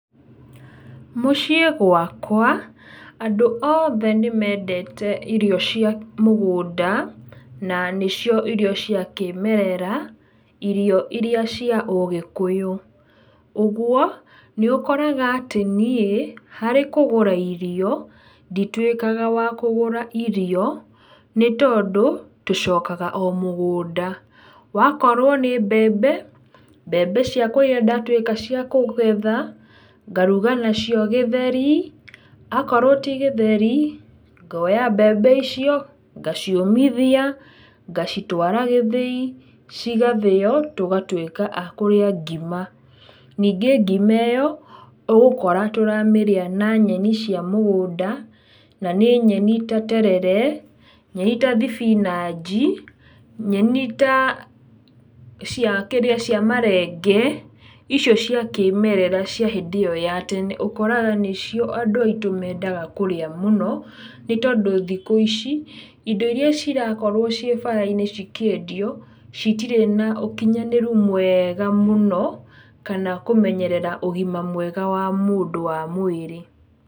Mũciĩ gwakwa, andũ othe nĩ mendete irio cia mũgũnda, na nĩcio irio cia kĩmerera, irio iria cia ũgĩkũyũ. Ũguo, nĩ ũkoraga atĩ niĩ, harĩ kũgũra irio, ndituĩkaga wa kũgũra irio, nĩ tondũ tũcokaga o mũgũnda, wakorwo nĩ mbembe, mbembe ciakwa iria ndatuĩka cia kũgetha, ngaruga nacio gĩtheri, akorwo ti gĩtheri, ngoya mbembe icio, ngaciũmithia, ngacitwara gĩthĩi, cigathĩo tũgatuĩka a kũrĩa ngima. Ningĩ ngima ĩyo, ũgũkora tũramĩrĩa na nyeni cia mũgũnda, na nĩ nyeni ta terere, nyeni ta thibinanji, nyeni ta, cia kĩrĩa marenge, icio cia kĩmerera cia hĩndĩ ĩyo ya tene, ũkoraga nĩcio andũ aitũ mendaga kũrĩa mũno, nĩ tondũ thikũ ici, indo iria cirakorwo ciĩ bara-inĩ cikĩendio, citirĩ na ũkinyanĩru mwega mũno, kana kũmenyerera ũgima mwega wa mũndũ wa mwĩrĩ.